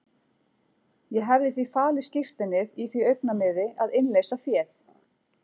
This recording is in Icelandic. Ég hefði því falið skírteinið í því augnamiði að innleysa féð.